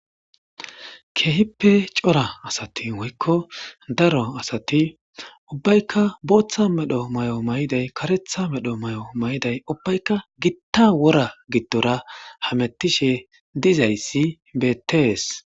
Keehippe cora asati woykko daro asati ubbaykka booththa medho may7o mayday karetha medho may7o may7day ubbaykka gitta wora giddora hamettishe dizayssi betees.